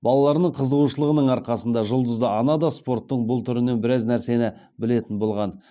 балаларының қызығушылығының арқасында жұлдызды ана да спорттың бұл түрінен біраз нәрсені білетін болған